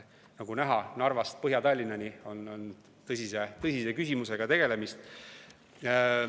Nagu näha, Narvast Põhja-Tallinnani on tõsise küsimusega tegemist.